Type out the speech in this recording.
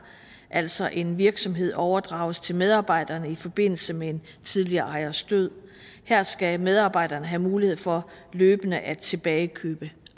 altså hvis en virksomhed overdrages til medarbejderne i forbindelse med en tidligere ejers død her skal medarbejderne have mulighed for løbende at tilbagekøbe